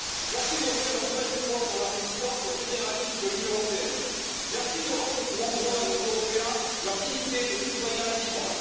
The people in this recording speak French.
Merci d'offrir un nouvel espoir dans la résistance au fédéralisme de l'Union européenne, merci de rendre aux Hongrois et aux Européens leur dignité de citoyens libres.